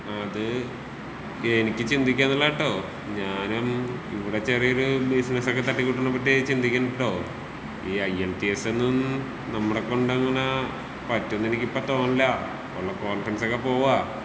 അത് എനിക്ക് ചിന്തിക്കാൻ നല്ലതാട്ടോ ഞാനും ഇവിടെ ചെറിയൊരു ബിസിനസൊക്കെ തട്ടികൂട്ട്ണ പറ്റിട്ട് ചിന്തിക്ക്ന്ന്ട്ടോ ഈ I E L T S ഒന്നും നമ്മടെ കൊണ്ടങ്ങനെ പറ്റുന്നെനിക്ക് ഇപ്പൊ തോന്നണില്ല ഒള്ള കോൺഫിഡൻസൊക്കെ പോവാ.